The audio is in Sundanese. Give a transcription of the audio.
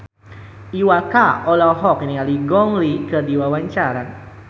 Iwa K olohok ningali Gong Li keur diwawancara